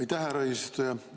Aitäh, härra eesistuja!